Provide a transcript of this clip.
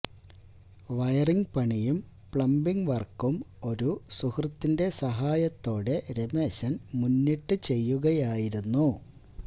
wiring പണിയും plumbing വര്ക്കും ഒരു സുഹൃത്തിന്റെ സഹായത്തോടെ രമേശന് മുന്നിട്ട് ചെയുകയായിരുന്നു